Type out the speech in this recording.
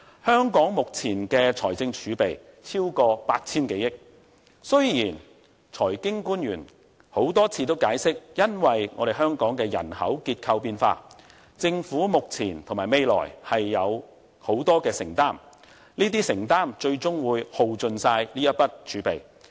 香港目前的財政儲備超過 8,000 多億元，雖然財經官員多次解釋基於香港人口結構變化，政府目前和未來有很大的承擔，這些承擔最終會耗盡這筆儲備。